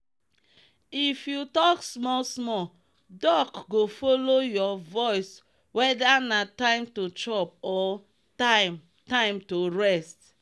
if you talk small small duck go follow your voiceweather na time to chop or time time to rest.